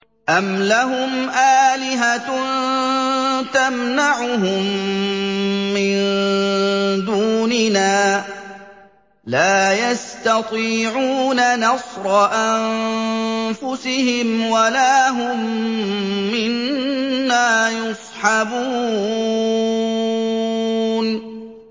أَمْ لَهُمْ آلِهَةٌ تَمْنَعُهُم مِّن دُونِنَا ۚ لَا يَسْتَطِيعُونَ نَصْرَ أَنفُسِهِمْ وَلَا هُم مِّنَّا يُصْحَبُونَ